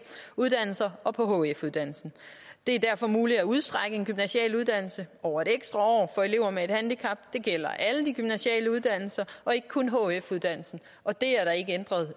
uddannelser og hf uddannelsen det er derfor muligt at udstrække en gymnasial uddannelse over en ekstra år for elever med et handicap det gælder alle de gymnasiale uddannelser og ikke kun hf uddannelsen og det